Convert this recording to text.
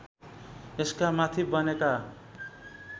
यसका माथि बनेका